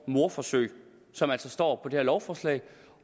mordforsøg som altså står på det her lovforslag